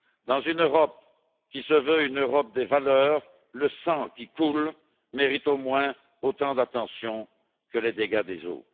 Dans une Europe qui se veut une Europe des valeurs, le sang qui coule mérite au moins autant d'attention que les dégâts des eaux.